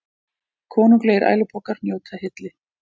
Konunglegir ælupokar njóta hylli